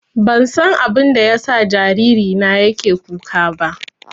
Ban san abinda ya sa jariri na yake kuka ba